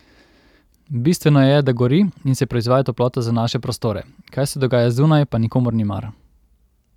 Bistveno je, da gori in se proizvaja toplota za naše prostore, kaj se dogaja zunaj, pa nikomur ni mar.